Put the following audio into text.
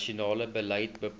nasionale beleid bepaal